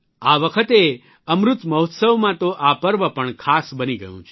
આ વખતે અમૃત મહોત્સવમાં તો આ પર્વ પણ ખાસ બની ગયું છે